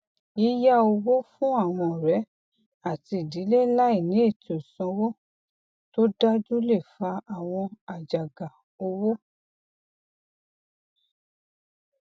yíyá owó fún àwọn ọrẹ àti ìdílé láìní ètò ìsanwó tó dájú lè fa àwọn àjàgà owó